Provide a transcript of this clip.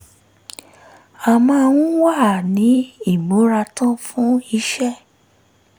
a máa ń wà ní ìmúratán fún iṣẹ́